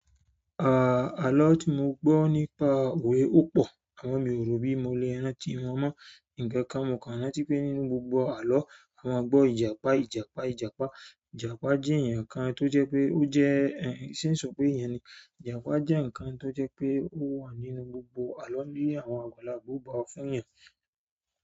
Àà, àlọ́ tí mo gbọ́ nípa òwe ó pọ̀, àwọn mi ò rò bí mo le rántí wọn mọ́. Nǹkankan mo kàn rántí pé nínú gbogbo àlọ́, a máa gbọ́ Ìjàpá, Ìjàpá, Ìjàpá. Ìjàpá jẹ́ ǹkan tó jẹ́ pé ó jẹ́ ẹ̀, ṣé ń sọ pé ìyẹn ni? Ìjàpá jẹ́ nǹkan tó jẹ́ pé ó wà nínú gbogbo àlọ́ ní àwọn àgbàlagbà ó fún yàn.